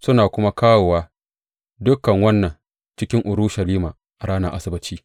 Suna kuma kawowa dukan wannan cikin Urushalima a ranar Asabbaci.